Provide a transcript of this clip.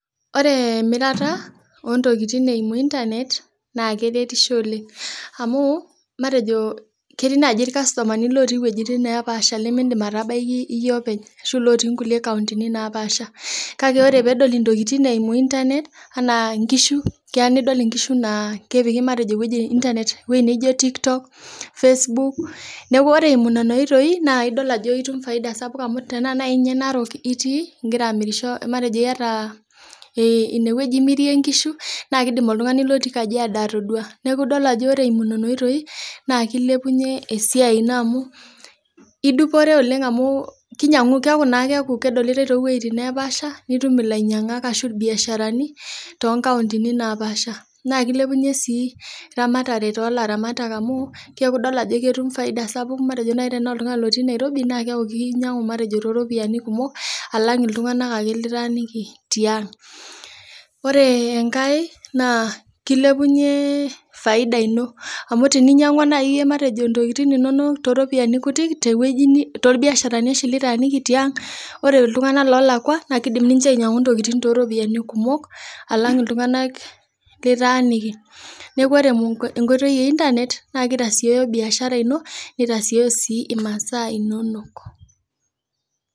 Ore emirata oo ntokin e internet naa keretisho oleng amuu matejo ketii naaji irkastomani ootii wuejitin neepasha ashuu lootii ncountini naapaasha kake tenintumia internet apik inkishu eimu TikTok Facebook ore eimu nena oitoi naa itumia faida sapuk amuu tenaa ninye naaji ke narok imirie nkishu naa kidim oltung'ani otii kajiado atoduaa neeku ore nena oitoi naa kilepunye esiaai ino amuu keeku kedolitae too wuejitin neepasha naa keilelunye eramatare amuu keeku imiraki lelo oolakwa te bei naapaasha alang enemiraki lelo ootii ang. Ore enkae naa kilepunye faida ino amuu teninyang'ua naaji too ropiyiani kutik too rbiasharani kitaaniki tiang, naa kidim ninche aainyiang'u too ropiyiani kumok alang iltung'anak litaaniki. Neeku ore enkoitoi e internet naa kitasiooyo biashara ino, nitasiyoo masaa inono.